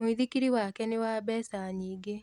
Mũithikiri wake nĩ wa mbeca nyingĩ